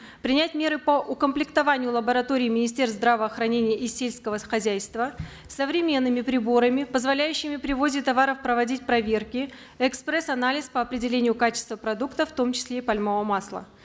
принять меры по укомплектованию лабораторий министерств здравоохранения и сельского хозяйства современными приборами позволяющими при ввозе товаров проводить проверки экспресс анализ по определению качества продуктов в том числе и пальмового масла